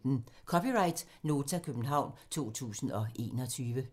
(c) Nota, København 2021